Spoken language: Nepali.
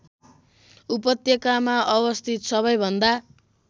उपत्यकामा अवस्थित सबैभन्दा